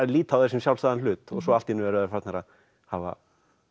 líta á það sem sjálfsagðan hlut allt einu eru þeir farnir að hafa